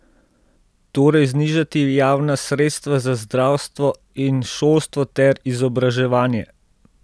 Torej znižati javna sredstva za zdravstvo in šolstvo ter izobraževanje?